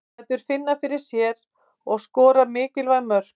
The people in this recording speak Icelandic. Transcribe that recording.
Lætur finna fyrir sér og skorar mikilvæg mörk.